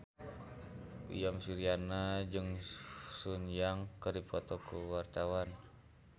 Uyan Suryana jeung Sun Yang keur dipoto ku wartawan